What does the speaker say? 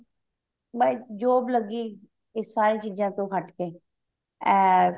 ਮੈਂ ਇੱਕ job ਲੱਗੀ ਇਹ ਸਾਰੀਆਂ ਚੀਜ਼ਾਂ ਤੋਂ ਹਟ ਕੇ ਅਮ